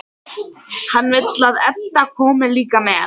Hann vill að Edda komi líka með.